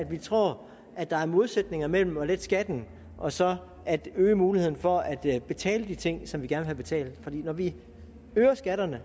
vi tror at der er modsætninger mellem at lette skatten og så at øge muligheden for at at betale de ting som vi gerne vil have betalt for når vi øger skatterne